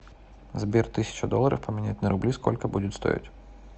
сбер тысяча долларов поменять на рубли сколько будет стоить